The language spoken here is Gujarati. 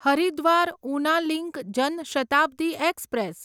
Haridwar Una link Jan Shatabdi express